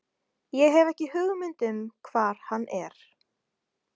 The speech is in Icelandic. Ég hef ekki hugmynd um hvar hann er.